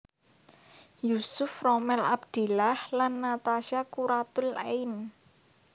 Yusuf Rommel Abdillah lan Natasha Quratul Ain